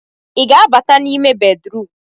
ị ga-abata n'ime bedrum?